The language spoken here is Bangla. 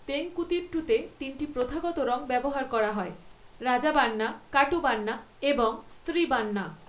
তেঙ্কুতিট্টুতে, তিনটি প্রথাগত রঙ ব্যবহার করা হয়, রাজাবান্না, কাটুবান্না এবং স্ত্রীবান্না।